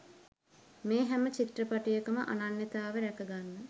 මේ හැම චිත්‍රපටයකම අනන්‍යතාවය රැක ගන්න